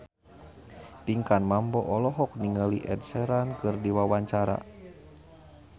Pinkan Mambo olohok ningali Ed Sheeran keur diwawancara